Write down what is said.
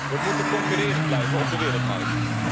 We moeten concurrerend blijven op de wereldmarkt.